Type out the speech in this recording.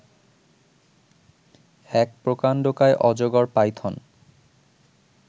এক প্রকান্ডকায় অজগর পাইথন